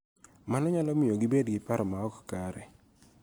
Mano nyalo miyo gibed gi paro ma ok kare